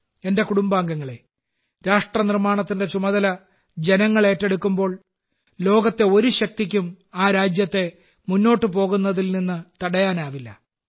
എന്റെ കുടുംബാംഗങ്ങളെ രാഷ്ട്രനിർമ്മാണത്തിന്റെ ചുമതല ജനങ്ങൾ ഏറ്റെടുക്കുമ്പോൾ ലോകത്തെ ഒരു ശക്തിക്കും ആ രാജ്യത്തെ മുന്നോട്ടു പോകുന്നതിൽ നിന്ന് തടയാനാവില്ല